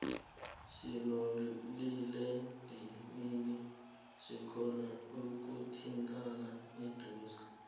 sinomaliledinini sikhona ikuthindana eduze